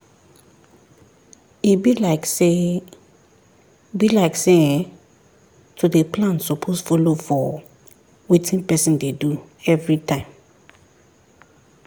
e be like say be like say[um]to dey plan suppose follow for wetin person dey do everytime